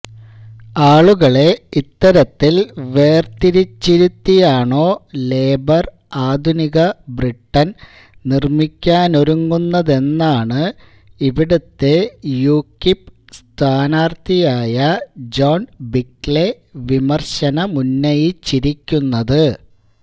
ആളുകളെ ഇത്തരത്തിൽ വേർതിരിച്ചിരുത്തിയാണോ ലേബർ ആധുനിക ബ്രിട്ടൻ നിർമ്മിക്കാനൊരുങ്ങുന്നതെന്നാണ് ഇവിടുത്തെ യുകിപ് സ്ഥാനാർത്ഥിയായ ജോൺ ബിക്ക്ലെ വിമർശനമുന്നയിച്ചിരിക്കുന്നത്